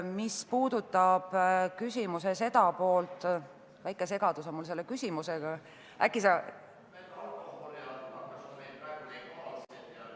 Mis puudutab küsimuse teist poolt, siis mul on sellega väike segadus.